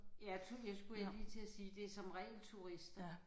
Ja det skulle jeg lige til at sige det er som regel turister